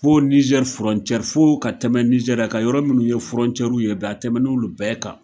Fo Niger foo ka tɛmɛ Niger a ka yɔrɔ minnu ye w ye bi a tɛmɛn'olu bɛɛ kan.